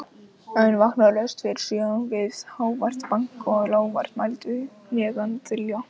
En vakna laust fyrir sjö við hávært bank og lágvært muldur neðan þilja.